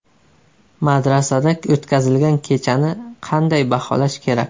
Madrasada o‘tkazilgan kechani qanday baholash kerak?